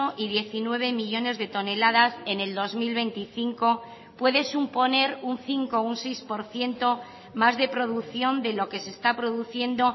y diecinueve millónes de toneladas en el dos mil veinticinco puede suponer un cinco o un seis por ciento más de producción de lo que se está produciendo